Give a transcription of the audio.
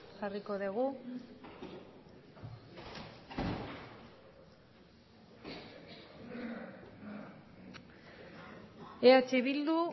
jarriko dugu eh bildu